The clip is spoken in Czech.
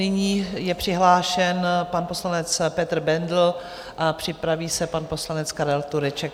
Nyní je přihlášen pan poslanec Petr Bendl a připraví se pan poslanec Karel Tureček.